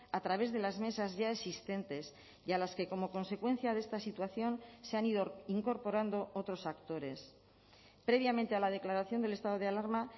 a través de las mesas ya existentes y a las que como consecuencia de esta situación se han ido incorporando otros actores previamente a la declaración del estado de alarma